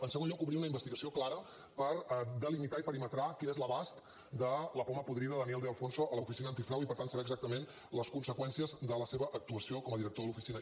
en segon lloc obrir una investigació clara per delimitar i perimetrar quin és l’abast de la poma podrida daniel de alfonso a l’oficina antifrau i per tant saber exactament les conseqüències de la seva actuació com a director de l’oficina